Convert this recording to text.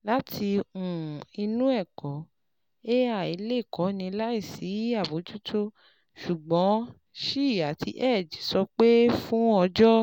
Láti um inú ẹ̀kọ́, AI lè kọ́ni láìsí àbójútó, ṣùgbọ́n Shi àti Hegde sọ pé fún ọjọ́